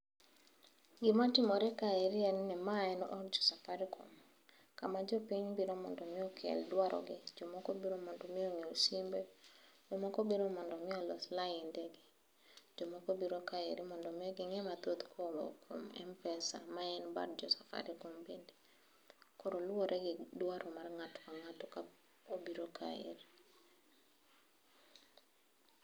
Gima timore ka eri en od safarikom kama jopiny biro mondo okel dwaro gi . Jomoko biro mondo mi onyiew simbe ,jomoko biro mondo mii olos lainde gi ,jomoko biro kaeri mondo mii ging'e mathoth kowuok kuom Mpesa ma en bad jo safarikom bende . Koro luwore gi dwaro mar ng'ato ka ng'ato ka kobiro kaeri.